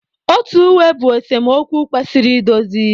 Otu uwe bụ esemokwu kwesịrị idozi.